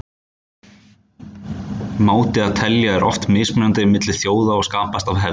máti að telja er oft mismunandi milli þjóða og skapast af hefð